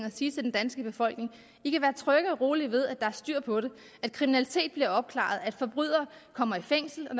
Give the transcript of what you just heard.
at sige til den danske befolkning i kan være trygge og rolige ved at der er styr på det at kriminalitet bliver opklaret at forbrydere kommer i fængsel og